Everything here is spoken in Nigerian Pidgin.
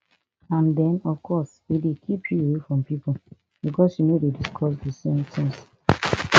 and den of course e dey keep you away from pipo becos you no dey discuss di same tins